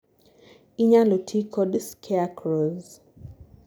inyalo tii kod scarecrows